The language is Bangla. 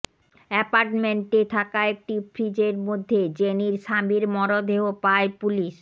অ্যাপার্টমেন্টে থাকা একটি ফ্রিজের মধ্যে জেনির স্বামীর মরদেহ পায় পুলিশ